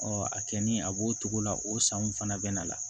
a kɛ ni a b'o cogo la o sanw fana bɛ na la